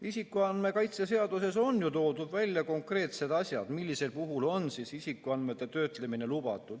Isikuandmete kaitse seaduses on ju toodud välja konkreetsed juhud, millisel puhul on isikuandmete töötlemine lubatud.